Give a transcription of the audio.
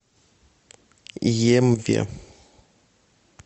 емве